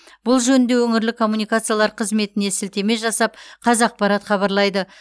бұл жөнінде өңірлік коммуникациялар қызметіне сілтеме жасап қазақпарат хабарлайды